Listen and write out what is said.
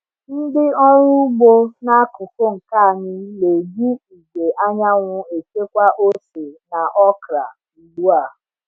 Ndị ọrụ ugbo n’akuku nke anyị na-eji igwe anyanwụ echekwa ose na okra ugbu a.